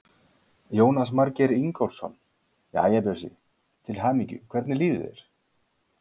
Jónas Margeir Ingólfsson: Jæja, Bjössi, til hamingju, hvernig líður þér?